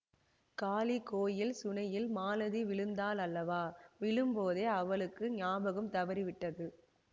காளி கோயில் சுனையில் மாலதி விழுந்தால் அல்லவா விழும்போதே அவளுக்கு ஞாபகம் தவறிவிட்டது